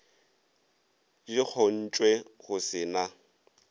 di kgontšwe go se na